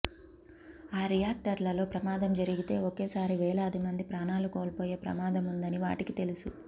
ఆ రియాక్టర్లలో ప్రమాదం జరిగితే ఒకే సారి వేలాది మంది ప్రాణాలు కోల్పోయే ప్రమాదం ఉందని వాటికి తెలుసు